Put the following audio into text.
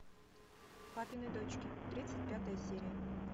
папины дочки тридцать пятая серия